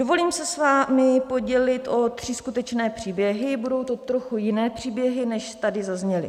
Dovolím se s vámi podělit o tři skutečné příběhy, budou to trochu jiné příběhy, než tady zazněly.